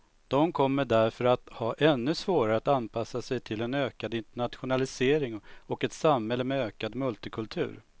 De kommer därför att ha ännu svårare att anpassa sig till en ökad internationalisering och ett samhälle med ökad multikultur.